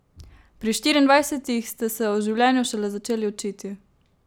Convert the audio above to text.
Pri štiriindvajsetih ste se o življenju šele začeli učiti!